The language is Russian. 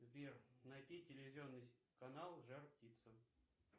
сбер найти телевизионный канал жар птица